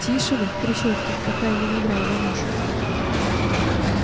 тише вы трещотки пока я не надрал вам уши